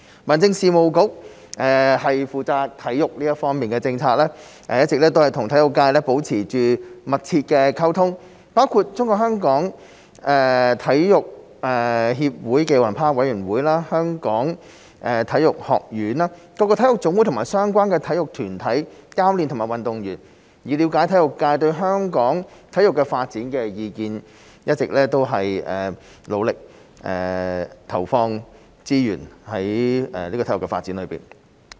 民政事務局負責體育方面的政策，一直與體育界保持密切溝通，包括中國香港體育協會暨奧林匹克委員會、香港體育學院、各個體育總會和相關體育團體、教練和運動員，以了解體育界對香港體育發展的意見，一直努力投放資源於體育發展上。